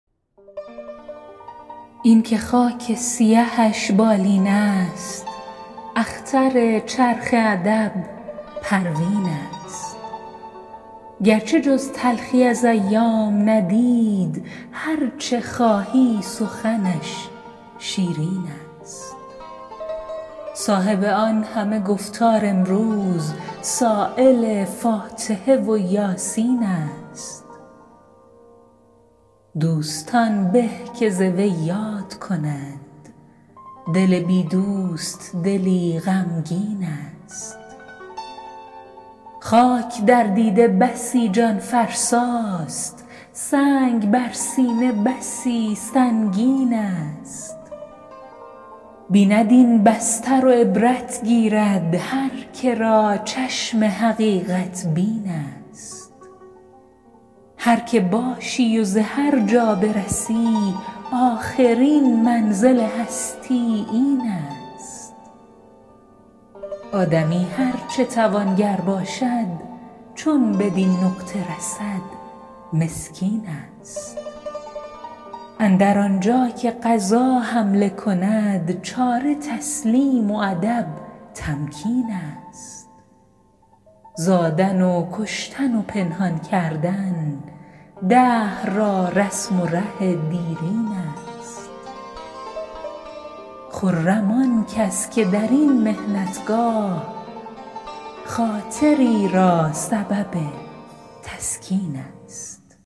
اینکه خاک سیهش بالین است اختر چرخ ادب پروین است گرچه جز تلخی از ایام ندید هر چه خواهی سخنش شیرین است صاحب آن همه گفتار امروز سایل فاتحه و یاسین است دوستان به که ز وی یاد کنند دل بی دوست دلی غمگین است خاک در دیده بسی جان فرسا ست سنگ بر سینه بسی سنگین است بیند این بستر و عبرت گیرد هر که را چشم حقیقت بین است هر که باشی و به هر جا برسی آخرین منزل هستی این است آدمی هر چه توانگر باشد چو بدین نقطه رسد مسکین است اندر آنجا که قضا حمله کند چاره تسلیم و ادب تمکین است زادن و کشتن و پنهان کردن دهر را رسم و ره دیرین است خرم آن کس که در این محنت گاه خاطری را سبب تسکین است